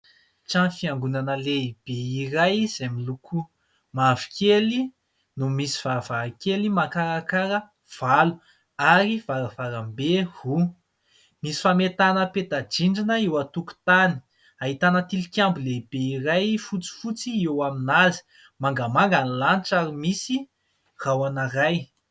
Trano fiangonana lehibe iray izay miloko mavokely no misy varavarankely makarakara valo, ary varavarambe roa. Misy fametahana peta-drindrina eo an-tokotany. Ahitana tilikambo lehibe iray fotsifotsy eo amin'azy. Mangamanga ny lanitra ary misy rahona iray.